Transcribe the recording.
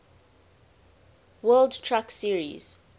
world truck series